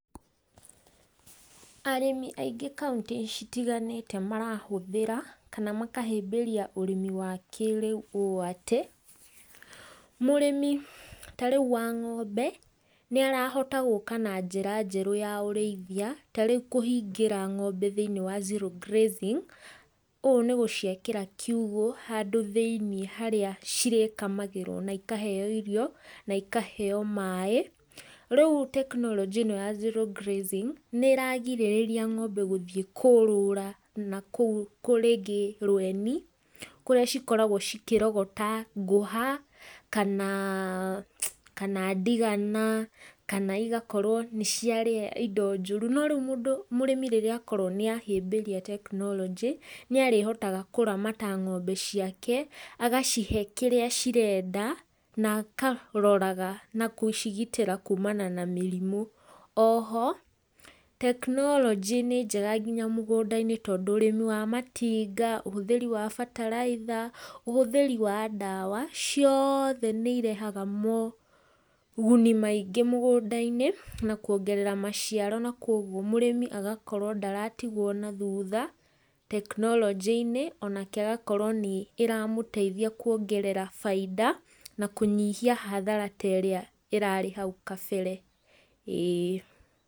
Arĩmi aingĩ kauntĩ citiganĩte marahũthĩra kana makahĩmbĩria ũrĩmi wa kĩrĩu ũũ atĩ, mũrĩmi ta rĩu wa ng'ombe nĩ arahota gũka na njĩra njerũ ya ũrĩithia ta rĩu kũhingĩra ng'ombe thĩinĩ wa zero grazing, ũũ nĩ gũciakĩra kiugũ handũ thĩinĩ harĩa cirĩ kamagĩrwo na ikaheo irio, na ikaheo maĩ. Rĩu tekinoronjĩ ĩno ya zero grazing, nĩ ĩragirĩríĩria ng'ombe gũthiĩ kũũrũra nakũu rĩngĩ rweni, kũrĩa cikoragwo cikĩrogota ngũha, kana kana ndigana, kana igakorwo nĩ ciarĩa indo njũru no rĩu mũndũ mũrĩmi rĩrĩa akorwo nĩ ahĩmbĩria tekinoronjĩ, nĩ arĩhotaga kũramata ng'ombe ciake, agacihe kĩrĩa cirenda, na akaroraga na gũcigitĩra kuumana na mĩrimũ. Oho, tekinoronjĩ nĩ njega nginya mũgũnda-inĩ tondũ ũrĩmi wa matinga, ũhũthĩri wa bataraitha, ũhũthĩri wa ndawa, ciothe nĩ irehaga moguni maingĩ mũgũnda-inĩ, na kuongerera maciaro na kogwo mũrĩmi agakorwo ndaratigwo na thutha tekinoronjĩ-inĩ onake agakorwo nĩ iramũteithia kwongerera bainda na kũnyihia hathara ta ĩrĩa ĩrarĩ hau kabere ĩĩ.